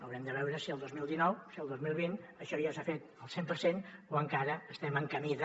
haurem de veure si el dos mil dinou si el dos mil vint això ja s’ha fet al cent per cent o encara estem en camí de